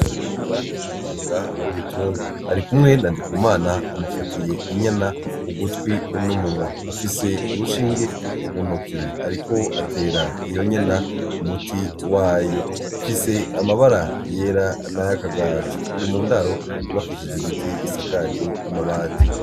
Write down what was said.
INARUNYONGAni umuganga w'ibitungwa arikumwe na NDIKUMANA amufatiye inyana ugutwi n' umunwa, afise urushinge mu ntoki ariko atera iyo nyana umuti wayo ifise amabara yera n' ayakagajo iri mu ndaro yubakishije ibiti isakaje amabati.